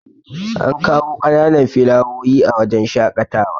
an kawo ƙananan filawoyi a wajen shaƙatawa